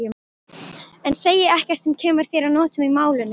En segi ekkert sem kemur þér að notum í málinu.